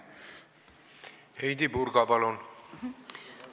Heidy Purga, palun!